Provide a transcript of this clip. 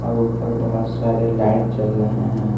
और ऊपर बहुत सारे लाइट जल रहे हैं।